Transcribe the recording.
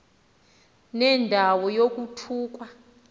nenda wo yokuthukwa